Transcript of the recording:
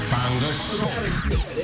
таңғы шоу